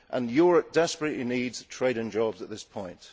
Europe desperately needs trade and jobs at this point.